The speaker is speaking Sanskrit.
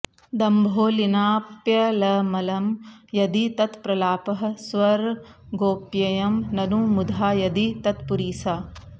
दम्भोलिनाप्यलमलं यदि तत्प्रलापः स्वर्गोप्ययं ननु मुधा यदि तत्पुरीसा